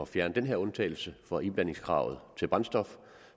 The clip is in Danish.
fjerne den her undtagelse for iblandingskravet til brændstof